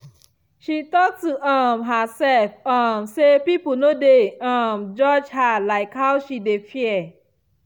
she talk to um herself um say people no dey um judge her like how she dey fear.